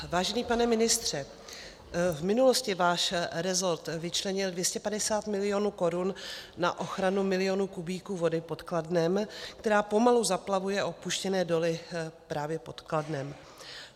Vážený pane ministře, v minulosti váš resort vyčlenil 250 milionů korun na ochranu milionů kubíků vody pod Kladnem, která pomalu zaplavuje opuštěné doly právě pod Kladnem.